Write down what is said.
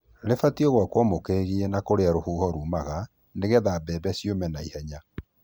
Rĩbatiĩ gwakwo mũkĩgiĩ na kũrĩa rũhuho rumaga nĩgetha mbembe ciũme na ihenya.